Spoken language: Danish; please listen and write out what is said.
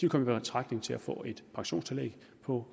komme i betragtning til at få et pensionstillæg på